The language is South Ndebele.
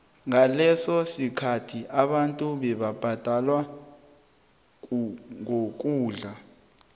ngaleso sikhathi abantu bebabhadelwa ngokudla